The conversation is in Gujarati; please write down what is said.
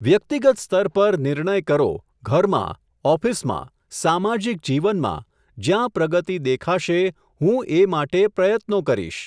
વ્યક્તિગત સ્તર પર નિર્ણય કરો ઘરમાં, ઑફિસમાં, સામાજિક જીવનમાં, જ્યાં પ્રગતિ દેખાશે, હું એ માટે પ્રયત્નો કરીશ.